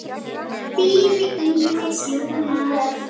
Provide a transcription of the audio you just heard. Þín Íris Jóna.